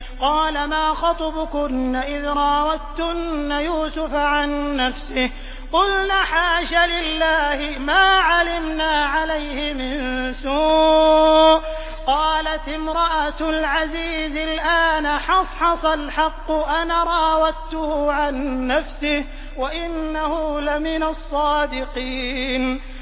قَالَ مَا خَطْبُكُنَّ إِذْ رَاوَدتُّنَّ يُوسُفَ عَن نَّفْسِهِ ۚ قُلْنَ حَاشَ لِلَّهِ مَا عَلِمْنَا عَلَيْهِ مِن سُوءٍ ۚ قَالَتِ امْرَأَتُ الْعَزِيزِ الْآنَ حَصْحَصَ الْحَقُّ أَنَا رَاوَدتُّهُ عَن نَّفْسِهِ وَإِنَّهُ لَمِنَ الصَّادِقِينَ